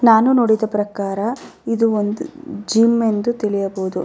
ನಾನು ನೋಡಿದ ಪ್ರಕಾರ ಇದು ಒಂದು ಜಿಮ್ ಎಂದು ತಿಳಿಯಬಹುದು.